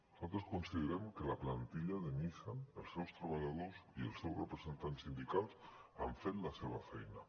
nosaltres considerem que la plantilla de nissan els seus treballadors i els seus representants sindicals han fet la seva feina